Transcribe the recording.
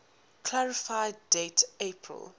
clarify date april